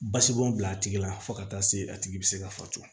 Basibɔn bila a tigi la fo ka taa se a tigi be se ka fatu